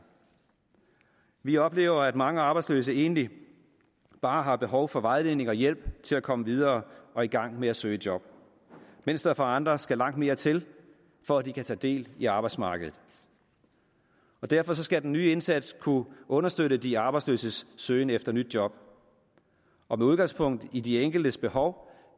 vi oplever at mange arbejdsløse egentlig bare har behov for vejledning og hjælp til at komme videre og i gang med at søge job mens der for andre skal langt mere til for at de kan tage del i arbejdsmarkedet derfor skal den nye indsats kunne understøtte de arbejdsløses søgen efter nyt job og med udgangspunkt i de enkeltes behov